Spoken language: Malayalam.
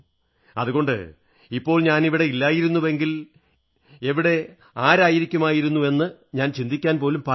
അതുകൊണ്ട് ഇപ്പോൾ ഞാനിവിടെയായിരുന്നില്ലെങ്കിൽ എവിടെ ആയിരിക്കുമായിരുന്നു എന്നത് എന്റെ ചിന്തയിൽപോലും ഇല്ല